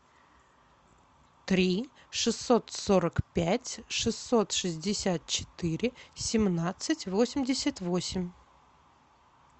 три шестьсот сорок пять шестьсот шестьдесят четыре семнадцать восемьдесят восемь